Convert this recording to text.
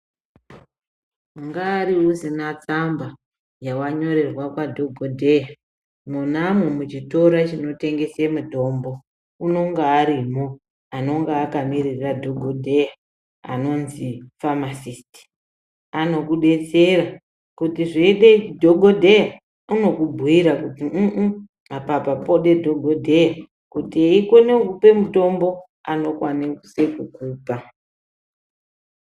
Ungari usina tsamba yakanyorwa nadhogodheya mwona umomo muchitoro chinotengesa mitombo unonga arimwo anenge akamirira dhokodheya anonzi famasisiti anokudetsera kuti zveyide dhokodheya anokubhuyira kuti uu apa pode dhokodheya kuti eyikone kukupa mitombo anokwanise kukupa .